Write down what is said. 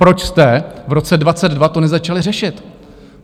Proč jste v roce 2022 to nezačali řešit?